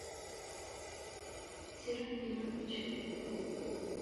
серафимович